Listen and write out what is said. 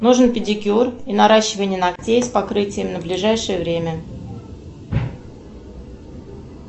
нужен педикюр и наращивание ногтей с покрытием на ближайшее время